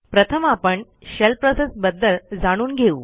प्रथम आपण shell process बदल जाणून घेऊ